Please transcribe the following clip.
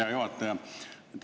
Hea juhataja!